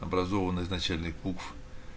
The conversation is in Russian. образованна из начальных букв